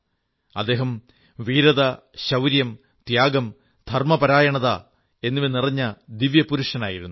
അദ്ദേഹം വീരത ശൌര്യം ത്യാഗം ധർമ്മപരായണത എന്നിവ നിറഞ്ഞ ദിവ്യപുരുഷനായിരുന്നു